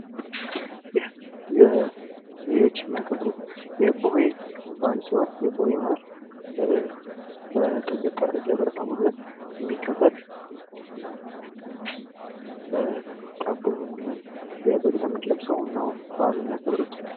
ይሄ ልጆች የሚያከብሩት የቡሄ በአል ሲሆን፤ የቡሄ በአል ደብረታቦር ላይ የሚከበር እና ዳቦ በመለመን የበግ ለምድ ለብሰው ነው በአሉን የሚያከብሩት።